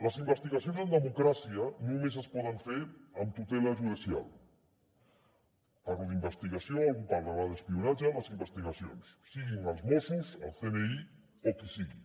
les investigacions en democràcia només es poden fer amb tutela judicial parlo d’investigació algú deurà parlar d’espionatge les investigacions siguin dels mossos el cni o qui sigui